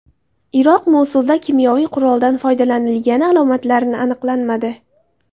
Iroq Mosulda kimyoviy quroldan foydalanilgani alomatlarini aniqlanmadi.